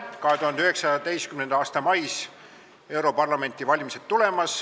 2019. aasta mais on tulemas europarlamendi valimised.